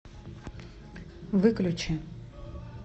выключи